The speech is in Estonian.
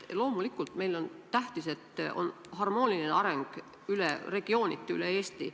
Loomulikult, meile on tähtis, et on harmooniline areng regiooniti üle Eesti.